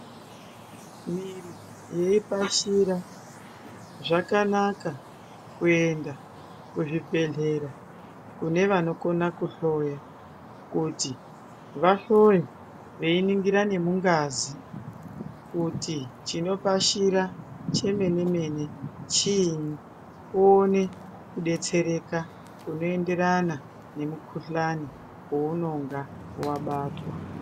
Miri yeipasira zvakanaka kuenda kuzvibhedhlera kune vanokona kuhloya. Kuti vahloye kuningira nemungazi kuti chinopashira chemene-mene, chiini uone kubetsereka kunoenderana nemukuhlani vounonga vabatwa.